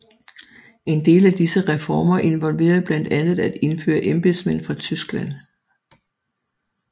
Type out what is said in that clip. En del af disse reformer involverede blandt andet at indføre embedsmænd fra Tyskland